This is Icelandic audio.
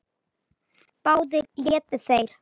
Báðir létu þeir